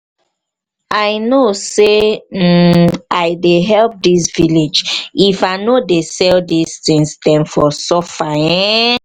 i no say um i dey help this village if i no dey sell this tings dem for suffer ehhh.